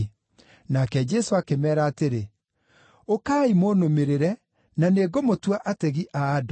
Nake Jesũ akĩmeera atĩrĩ, “Ũkai, mũnũmĩrĩre, na nĩngũmũtua ategi a andũ.”